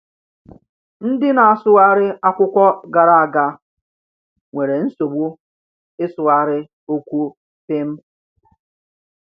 Ndị na-asụgharị akwụkwọ gara aga nwere nsogbu ịsụgharị okwu “pim.”